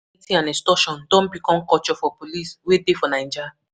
Police brutality and extortion don become culture for police wey dey for Naija.